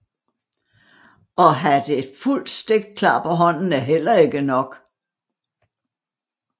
Og at have et fuldt stik klar på hånden er heller ikke nok